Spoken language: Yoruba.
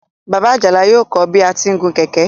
Bàbá Àjàlá yóò kọ́ ọ bí a ti ń gun kẹ̀kẹ́.